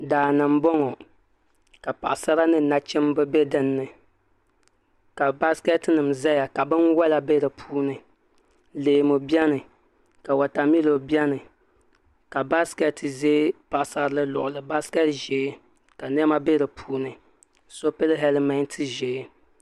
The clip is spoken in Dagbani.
Daani n bɔŋɔ ka paɣasara ni nachimba bɛ dinni ka basikɛti nima zaya ka bini wola bɛ di puuni leemu bɛni ka watamilo bɛni ka basikɛti zɛ paɣasarili luɣuli basikɛti ʒɛɛ ka nima bɛ di puuni so pili hɛlimenti ʒee.